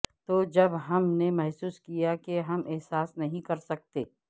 تو جب ہم نے محسوس کیا کہ ہم احساس نہیں کر سکتے